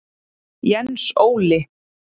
Jens Óli.